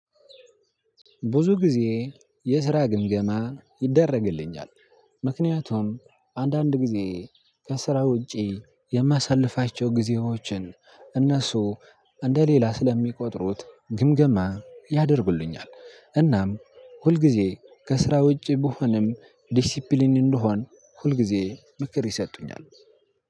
ብዙ ጊዜ የስራ ግምገማ ይደረግልኛል ምክንያቱም አንዳንድ ጊዜ ከስራ ውጪ የማሳልፋቸው ጊዜዎችን እነሱ እንደሌላ ስለሚቆጥሩት ግምገማ ያደርጉልኛል። እናም ሁልጊዜ ከስራ ውጪ ብሆንም ዲሲፕሊን እንደሆን ሁል ጊዜ ምክር ይሰጡኛል።